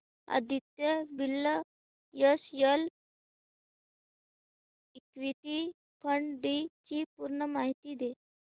Aditya Birla SL equity fund D ची पूर्ण माहिती दे